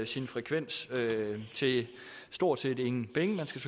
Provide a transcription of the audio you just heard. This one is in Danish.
sin frekvens til stort set ingen penge man skal